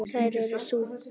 Þær eru þú.